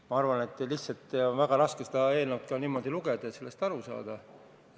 Ma arvan, et lihtsalt on väga raske seda eelnõu niimoodi lugeda, et sellest aru saaks.